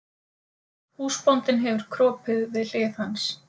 Húsbóndinn hefur kropið við hlið hans.